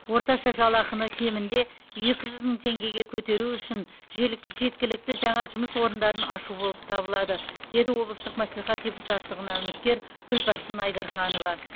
орташа жалақыны кемінде екі жүз мың теңгеге көтеру үшін желік жеткілікті жаңа жұмыс орындарын ашу болып табылады деді облыстық мәслихат депутаттығына үміткер күлпаршын айдарханова